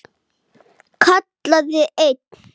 Helga, Lilja, Garðar og Ólöf.